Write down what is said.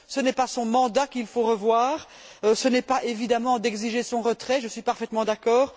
Ce n'est pas son mandat qu'il faut revoir et il ne faut évidemment pas exiger son retrait, je suis parfaitement d'accord.